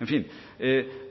en fin